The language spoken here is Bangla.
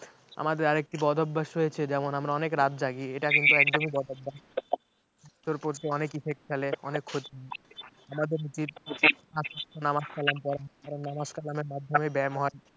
আমাদের আর একটা বদ অভ্যাস রয়েছে যেমন আমরা অনেক রাত জাগি এটা কিন্তু একদমই বরদাস্ত অনেক effect ফেলে অনেক ক্ষতি আমাদের উচিৎ পাঁচ ওয়াক্ত নামাজ কালাম পড়া কারণ নামাজ কালামের মাধ্যমে ব্যায়াম হয়